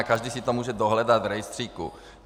A každý si to může dohledat v rejstříku.